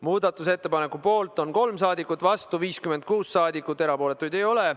Muudatusettepaneku poolt on 3 rahvasaadikut ja vastu 56 rahvasaadikut, erapooletuid ei ole.